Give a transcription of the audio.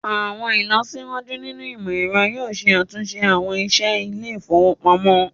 Awọn ilọsiwaju nínu imọ̀-ẹ̀rọ̀ yoo ṣẹ̀ àtunṣe awọn iṣẹ ilẹ̀-ifowopamọ̀.